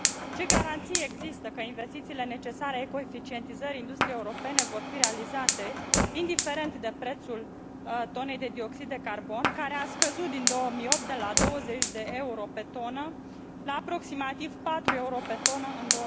Ce garanții există că investițiile necesare ecoeficientizării industriei europene vor fi realizate, indiferent de prețul tonei de dioxid de carbon, care a scăzut din 2008 de la 20 de euro pe tonă la aproximativ 4 euro pe tonă în